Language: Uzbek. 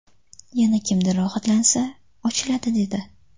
Yana kimdir rohatlansa, ochiladi dedi.